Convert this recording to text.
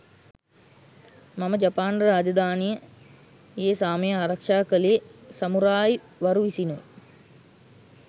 මෙම ජපාන රාජධානියේ සාමය ආරක්ෂා කළේ සමුරායි වරු විසිනුයි.